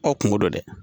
Ɔ kungo dɔ dɛ